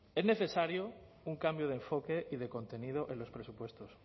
es necesario un cambio de enfoque y de contenido en los presupuestos